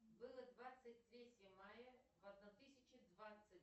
было двадцать третье мая в одна тысяча двадцать